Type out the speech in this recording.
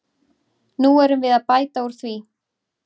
Nú erum við að bæta úr því.